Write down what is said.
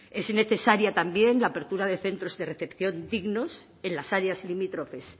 es necesaria también la apertura de centros de recepción dignos en las áreas limítrofes